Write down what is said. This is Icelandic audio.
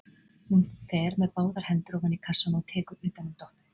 Hún fer með báðar hendur ofan í kassann og tekur utan um Doppu.